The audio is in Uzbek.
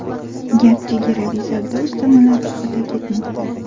Gap chegaraviy savdo ustamalari haqida ketmoqda.